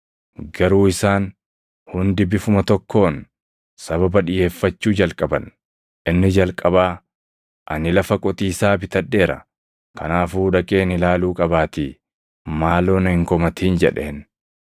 “Garuu isaan hundi bifuma tokkoon sababa dhiʼeeffachuu jalqaban; inni jalqabaa, ‘Ani lafa qotiisaa bitadheera; kanaafuu dhaqeen ilaaluu qabaatii maaloo na hin komatin’ jedheen.